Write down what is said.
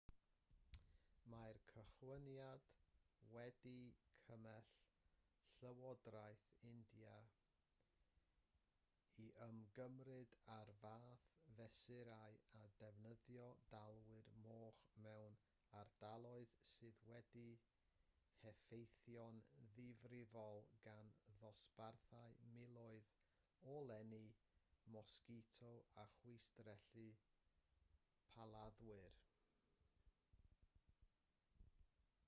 mae'r cychwyniad wedi cymell llywodraeth india i ymgymryd â'r fath fesurau â defnyddio dalwyr moch mewn ardaloedd sydd wedi'u heffeithio'n ddifrifol gan ddosbarthu miloedd o lenni mosgito a chwistrellu plaladdwyr